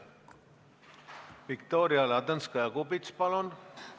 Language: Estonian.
Viktoria Ladõnskaja-Kubits, palun!